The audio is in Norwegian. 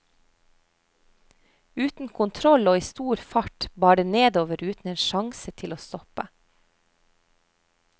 Uten kontroll og i stor fart bar det nedover uten en sjangse til å stoppe.